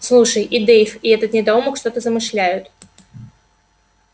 слушай и дейв и этот недоумок что-то замышляют